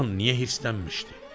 Ağam niyə hırsilənmişdi?